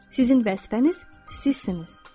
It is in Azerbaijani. Sizin vəzifəniz sizsiniz.